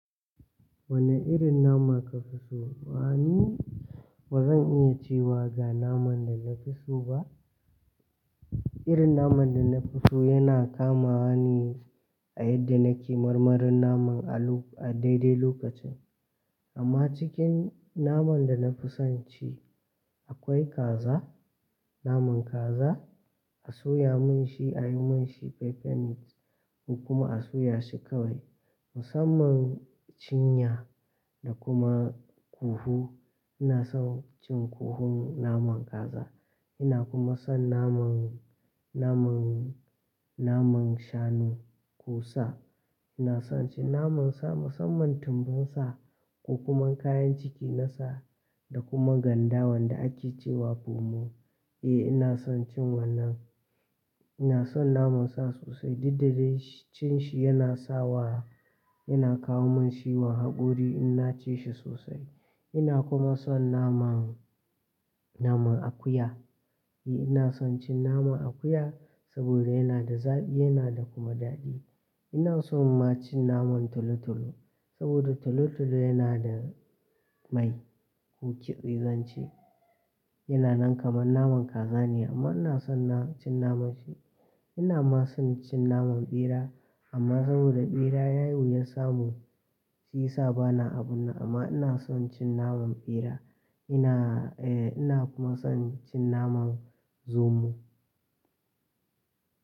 Wane irin nama kafi so? Wa, ni? Bazan iya cewa ga naman da nafi so ba. Irin naman da nafi so yana kamawa ne a yanda nake marmarin naman a dai-dai lokacin. Amma cikin naman da nafi son ci akwai kaza, naman kaza. A soya min shi, a yi mn shi peppered meat, ko kuma a soya shi kawai. Musamman cinya da kuma ƙuhu. Ina son cin ƙuhun naman kaza. Ina kuma son naman, naman, naman shanu, ko sa. Ina son cin naman sa, musamman tumbin sa ko kuma kayan ciki na sa, da kuma ganda wanda ake cewa pomo. Eh ina son cin wannan. Ina son naman sa sosai. Duk da dai cin shi yana sa wa, yana kawo min ciwon haƙori in na ci shi sosai. Ina kuma son naman, naman akuya. Eh ina son cin naman akuya saboda yana da zaɓi yana da kuma daɗi. Ina son ma cin naman tolo-tolo, sabida tolo-tolo yana da mai ko ƙitse zan ce. Yana nan kamar naman kaza ne amma ina son na cin naman shi. Ina ma son cin naman ɓera, amma sabida ɓera yayi wuyan samu shi yasa bana abunnan amma ina son cin naman ɓera. Ina, eh ina kuma son cin naman zomo.